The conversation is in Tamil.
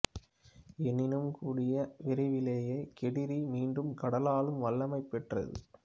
எனினும் கூடிய விரைவிலேயே கேடிரி மீண்டும் கடலாளும் வல்லமையைப் பெற்றது